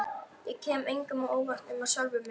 Ég kem engum á óvart nema sjálfum mér.